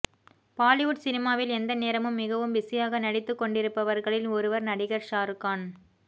பாலிவுட் சினிமாவில் எந்த நேரமும் மிகவும் பிஸியாக நடித்துக்கொண்டிருப்பவர்களில் ஒருவர் நடிகர் ஷாருகான்